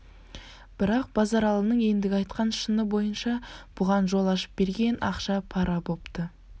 бірақ базаралының ендігі айтқан шыны бойынша бұған жол ашып берген ақша-пара бопты